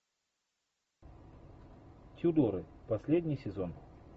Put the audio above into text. тюдоры последний сезон